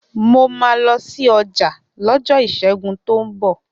Mo máa lọ sí ọjà lọ́jọ́ Ìṣẹ́gun tó ń bọ̀